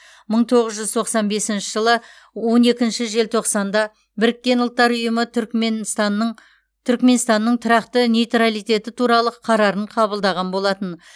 мың тоғыз жүз тоқсан бесінші жылы он екінші желтоқсанда біріккен ұлттар ұйымы түрікменстанның түрікменстанның тұрақты нейтралитеті туралы қарарын қабылдаған болатын